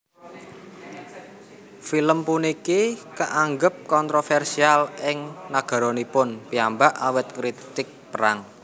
Film puniki kaanggep kontrovèrsial ing nagaranipun piyambak awit ngritik perang